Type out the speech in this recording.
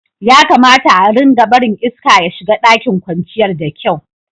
Ya kamata a'rika barin iska ya shiga ɗakin kwanciyar da kyau.